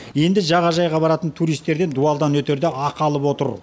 енді жағажайға баратын туристерден дуалдан өтерде ақы алып отыр